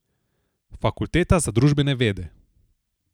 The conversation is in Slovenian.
Fakulteta za družbene vede.